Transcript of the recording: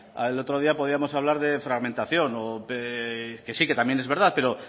el otro día podíamos hablar de fragmentación que sí que también es verdad pero